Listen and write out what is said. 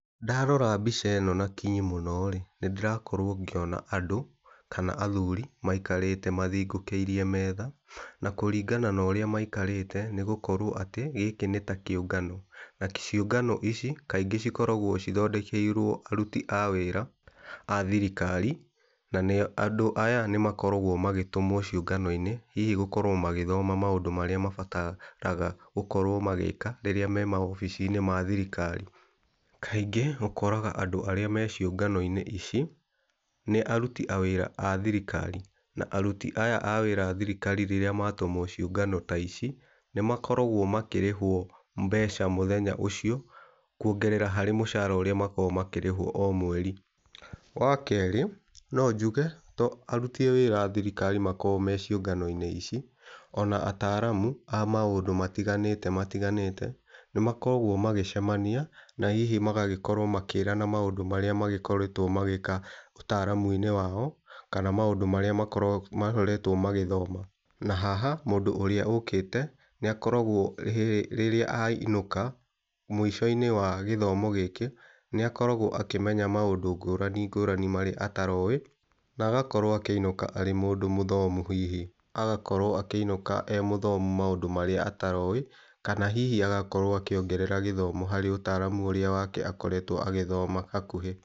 Ndarora mbica ĩno na kinyi mũno rĩ, nĩ ndĩrakorwo ngĩona andũ kana athuri maikarĩte mathingukĩirie metha. Na kũringana na ũrĩa maikarĩte nĩ gũkorwo atĩ gĩkĩ nĩ ta kĩũngano. Na ciũngano ici kaingĩ cikoragwo cithondekeirwo aruti a wĩra a thirikari, na andũ aya nĩ makoragwo magĩtũmwo ciũngano-inĩ, hihi gũkorwo magĩthoma maũndũ marĩa mabataraga gũkorwo magĩĩka rĩrĩa me mawabici-inĩ ma thirikari. Kaingĩ ũkoraga andũ arĩa me ciũngano-inĩ ici nĩ aruti a wĩra a thirikari. Na aruti aya a wĩra a thirikari rĩrĩa matũmwo ciũngano ta ici, nĩ makoragwo makĩrĩhwo mbeca mũthenya ũcio, kuongerera harĩ mũcara ũrĩa makoragwo makĩrĩhwo o mweri. Wa kerĩ no njuge to aruti a wĩra a thirikari makoragwo me ciũngano-inĩ ici, ona ataaramu a maũndũ matiganĩte matiganĩte, nĩ makoragwo magĩcemania na hihi magagĩkorwo makĩrana maũndũ marĩa magĩkoretwo magĩĩka ũtaaramu-inĩ wao, kana maũndũ marĩa makoretwo magĩthoma. Na haha, mũndũ ũrĩa ũkĩte nĩ akoragwo rĩrĩa ainũka mũico-inĩ wa gĩthomo gĩkĩ, nĩ akoragwo akĩmenya maũndũ ngũrani ngũrani marĩa ataroĩ. Na agakorwo akĩinũka arĩ mũndũ mũthomu, hihi agakorwo akĩinũka arĩ mũthomu maũndũ marĩa ataroĩ. Kana hihi agakorwo akĩongerera gĩthomo harĩ ũtaaramu ũrĩa wake ũrĩa akoretwo agĩthoma hakuhĩ.